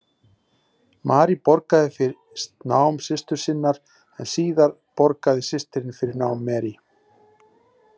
Marie borgaði fyrst nám systur sinnar en síðar borgaði systirin fyrir nám Marie.